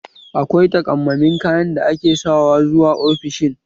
Akwai takammamen kayan da ake sawa zuwa ofishin?